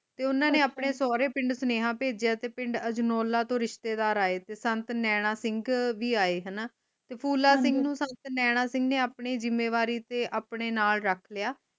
ਤੇ ਓਨਾ ਨੇ ਆਪਣੇ ਸੋਹਰੇ ਪਿੰਡ ਸਨੇਹਾ ਭੇਜਿਆ ਤੇ ਪਿੰਡ ਅਜਨੋਲਾ ਤੋਂ ਰਿਸ਼ਤੇਦਾਰ ਆਏ ਤੇ ਸੰਤ ਨੈਣਾ ਸਿੰਘ ਵੀ ਆਏ ਤੇ ਹਣਾ ਫੂਲਾ ਸਿੰਘ ਨੂੰ ਸੰਤ ਨੈਣਾ ਸਿੰਘ ਨੇ ਆਪਣੇ ਜਿੰਮੇਵਾਰੀ ਤੇ ਆਉਣੇ ਨਾਲ ਰੱਖ ਲਿਆ